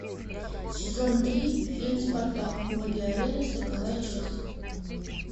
сезон три фильм спартак боги арены сороковая часть